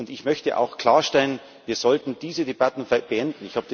Ich möchte auch klarstellen Wir sollten diese Debatten beenden.